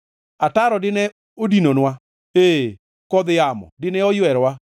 ataro dine odinonwa, ee, kodh yamo dine oywerowa,